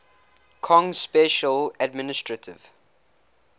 kong special administrative